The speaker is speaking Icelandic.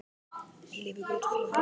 Ég lifi ekki út frá því.